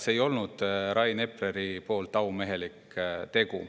See ei olnud Rain Epleril aumehelik tegu.